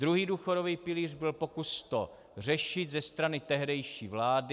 Druhý důchodový pilíř byl pokus to řešit ze strany tehdejší vlády.